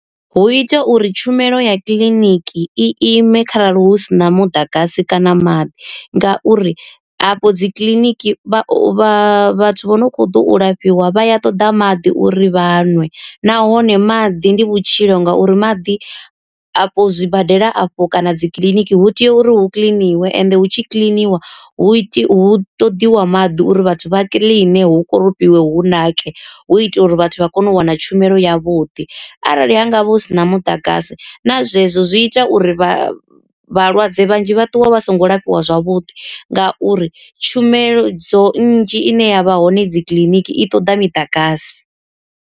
Hu ita uri tshumelo ya kiḽiniki i ime kharali hu sina muḓagasi kana maḓi ngauri afho dzi kiḽiniki vha vhathu vho no kho ḓo u lafhiwa vha ya ṱoḓa maḓi uri vhanwe. Nahone maḓi ndi vhutshilo ngauri maḓi a fho zwibadela afho kana dzi kiḽiniki hu tea uri hu kiḽiniwe ende hu tshi kiḽiniwa hu iti hu ṱoḓiwa maḓi uri vhathu vha kiḽine hu koropiwe hu nake. Hu itela uri vhathu vha kone u wana tshumelo yavhuḓi, arali ha ngavha hu sina muḓagasi na zwezwo zwi ita uri vha vhalwadze vhanzhi vha ṱuwe vha songo lafhiwa zwavhuḓi ngauri tshumelo dzo nnzhi ine ya vha hone dzi kiḽiniki i ṱoḓa miḓagasi.